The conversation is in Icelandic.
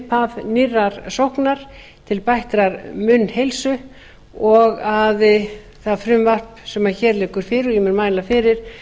upphaf nýrrar sóknar til bættrar munnheilsu og að það frumvarp sem hér liggur fyrir og ég mun mæla fyrir